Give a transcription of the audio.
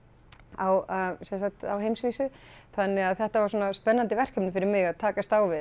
á sem sagt heimsvísu þannig að þetta var svona spennandi verkefni fyrir mig að takast á við